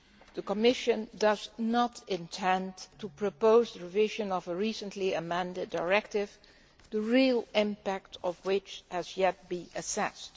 The Commission does not intend to propose the revision of a recently amended directive, the real impact of which has yet to be assessed.